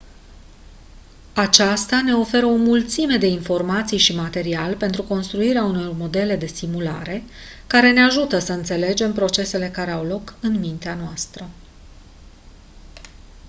aceasta ne oferă o mulțime de informații și material pentru construirea unor modele de simulare care ne ajută să înțelegem procesele care au loc în mintea noastră